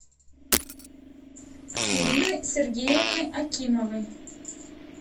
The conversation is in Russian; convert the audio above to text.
ирины сергеевны акимовой